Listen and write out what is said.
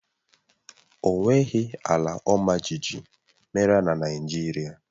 O nweghị ala ọmajiji mere na Naịjirịa